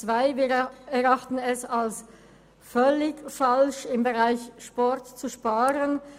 Wir erachten es als völlig falsch, im Bereich Sport zu sparen.